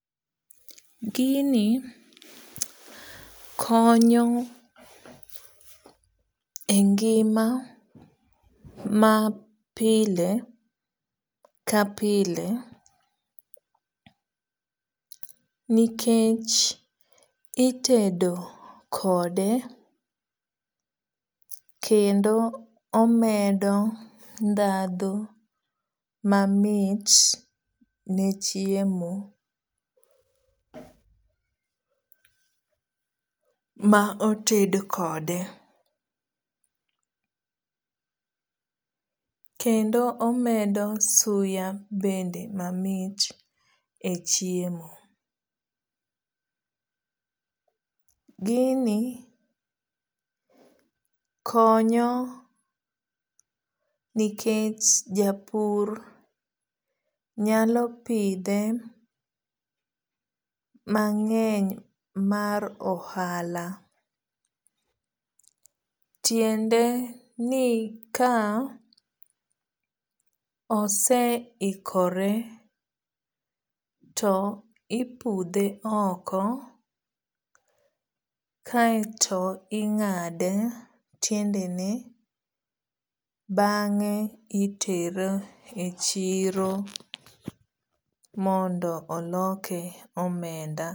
Gini konyo e ngima ma pile ka pile nikech itedo kode kendo omedo dhadho mamit ne chiemo ma oted kode. Kendo omedo suya bende mamit e chiemo. Gini konyo nikech japur nyalo pidhe mang'eny mar ohala. Tiende ni ka osehikore to ipudhe oko kaeto ing'ado tiende ne bang'e itere e chiro mondo oloke omenda.